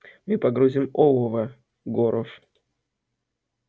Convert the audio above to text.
мы погрузим олово горов